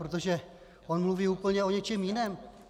Protože on mluví úplně o něčem jiném.